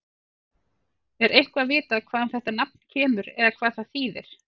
Er eitthvað vitað hvaðan þetta nafn kemur eða hvað það þýðir?